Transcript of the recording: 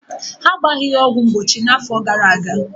Ha agbaghi ya ọgwụ mgbochi na-afọ gara-aga.